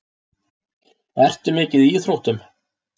Ertu mikið í íþróttum?